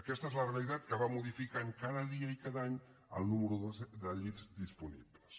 aquesta és la realitat que va modificant cada dia i cada any el nombre de llits disponibles